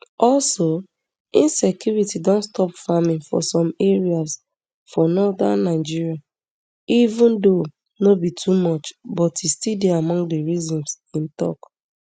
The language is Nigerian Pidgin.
also insecurity don stop farming for some areas for northern nigeria even though no be too much but e dey among di reasons im tok